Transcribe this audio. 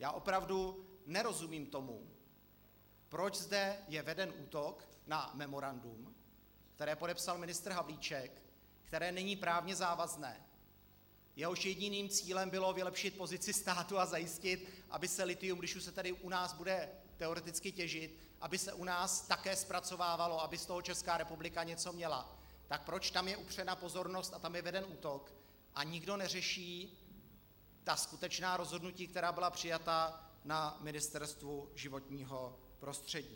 Já opravdu nerozumím tomu, proč zde je veden útok na memorandum, které podepsal ministr Havlíček, které není právně závazné, jehož jediným cílem bylo vylepšit pozici státu a zajistit, aby se lithium, když už se tady u nás bude teoreticky těžit, aby se u nás také zpracovávalo, aby z toho Česká republika něco měla, tak proč tam je upřena pozornost a tam je veden útok a nikdo neřeší ta skutečná rozhodnutí, která byla přijata na Ministerstvu životního prostředí.